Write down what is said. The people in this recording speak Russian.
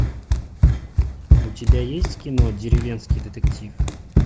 у тебя есть кино деревенский детектив